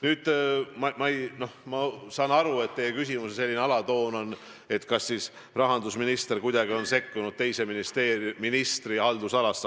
Nüüd, ma saan aru, et teie küsimuse alatoon on, kas rahandusminister on kuidagi sekkunud teise ministri haldusalasse.